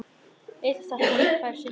Litla stelpan fær sinn kjól.